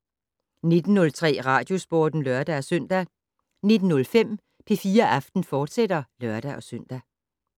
19:03: Radiosporten (lør-søn) 19:05: P4 Aften, fortsat (lør-søn)